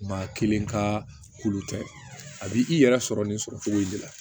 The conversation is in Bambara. Maa kelen ka k'olu tɛ a b'i i yɛrɛ sɔrɔ nin sɔrɔ cogo in de la